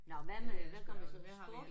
Nåh hvad med hvad gør vi så? Sport?